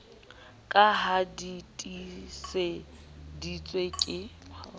ka ha di tiiseditswe ke